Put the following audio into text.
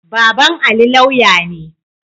Baban Ali lauya ne.